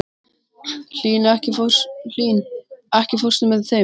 Hlín, ekki fórstu með þeim?